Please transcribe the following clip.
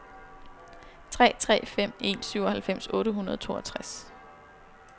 tre tre fem en syvoghalvfems otte hundrede og toogtres